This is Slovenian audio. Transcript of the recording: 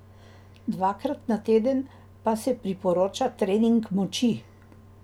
Dvakrat na teden pa se priporoča trening moči.